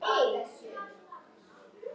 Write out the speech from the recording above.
Lóa-Lóa skildi þetta ekki.